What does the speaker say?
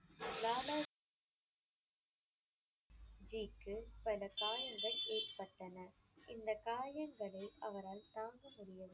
லாலா ஜிக்கு பல காயங்கள் ஏற்பட்டன. இந்தக் காயங்களை அவரால் தாங்க முடியவில்லை.